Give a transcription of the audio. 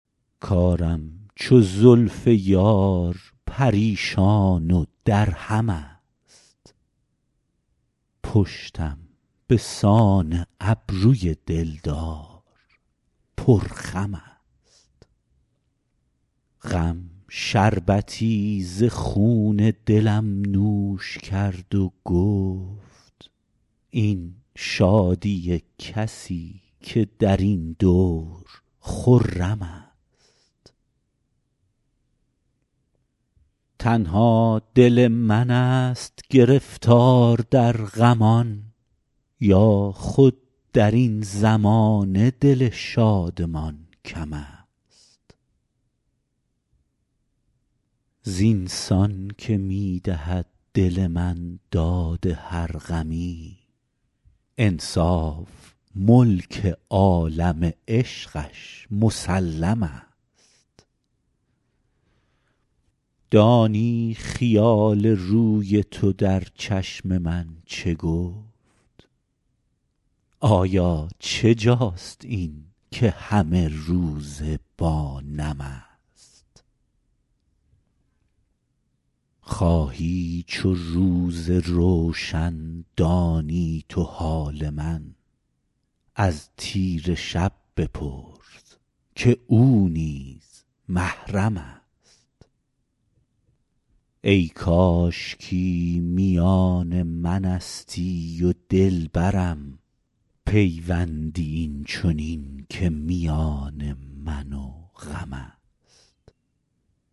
کارم چو زلف یار پریشان و درهم است پشتم به سان ابروی دل دار پرخم است غم شربتی ز خون دلم نوش کرد و گفت این شادی کسی که در این دور خرم است تنها دل من ست گرفتار در غمان یا خود در این زمانه دل شادمان کم است زین سان که می دهد دل من داد هر غمی انصاف ملک عالم عشقش مسلم است دانی خیال روی تو در چشم من چه گفت آیا چه جاست این که همه روزه با نم است خواهی چو روز روشن دانی تو حال من از تیره شب بپرس که او نیز محرم است ای کاشکی میان من استی و دل برم پیوندی این چنین که میان من و غم است